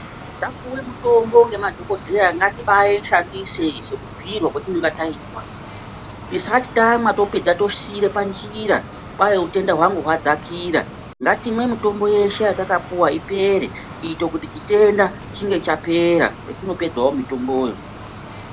Tapuwe mutombo ngemadhokodheya ngatibaishandise sokubhuyirwa kwotinonge taitwa, tisati tamwa topedza tosiira panjira kwai utenda hwangu hwadzakira ngatimwe mitombo yedu yeshe yatakapuwa ipere kuite kuti chitenda chinge chapera petinopedzawo mitombowo.